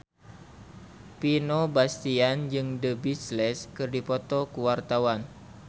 Vino Bastian jeung The Beatles keur dipoto ku wartawan